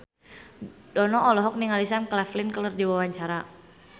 Dono olohok ningali Sam Claflin keur diwawancara